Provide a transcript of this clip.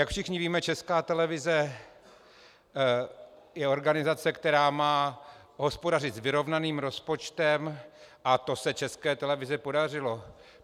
Jak všichni víme, Česká televize je organizace, která má hospodařit s vyrovnaným rozpočtem, a to se České televizi podařilo.